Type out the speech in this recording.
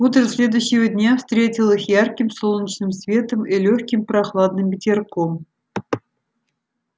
утро следующего дня встретило их ярким солнечным светом и лёгким прохладным ветерком